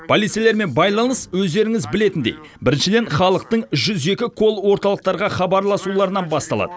полицейлермен байланыс өздеріңіз білетіндей біріншіден халықтың жүз екі колл орталықтарға хабарласуларынан басталады